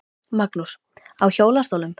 Magnús: Á hjólastólnum?